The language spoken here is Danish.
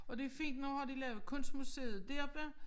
Og det fint nu har de lavet kunstmuseet deroppe